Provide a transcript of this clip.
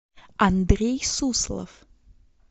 андрей суслов